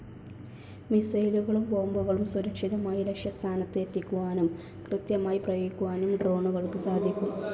മിസൈലുകളും ബോംബുകളും സുരക്ഷിതമായി ലക്ഷ്യസ്ഥാനത്ത് എത്തിക്കുവാനും, കൃത്യമായി പ്രയോഗിക്കാനും ഡ്രോണുകൾക്ക് സാധിക്കും.